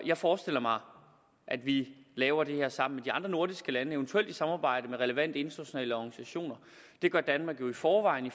jeg forestiller mig at vi laver det her sammen de andre nordiske lande eventuelt i samarbejde med relevante internationale organisationer det gør danmark jo i forvejen i